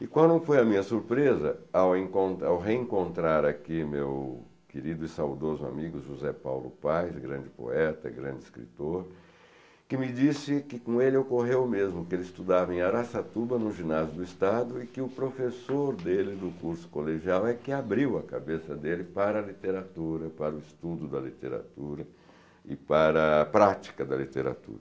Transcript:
E quando foi a minha surpresa ao encontra ao reencontrar aqui meu querido e saudoso amigo José Paulo Paes, grande poeta, grande escritor, que me disse que com ele ocorreu o mesmo, que ele estudava em Araçatuba, no Ginásio do Estado, e que o professor dele do curso colegial é que abriu a cabeça dele para a literatura, para o estudo da literatura e para a prática da literatura.